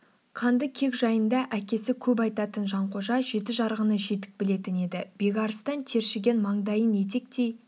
қанды кек жайында әкесі көп айтатын жанқожа жеті жарғыны жетік білетін еді бекарыстан тершіген маңдайын етектей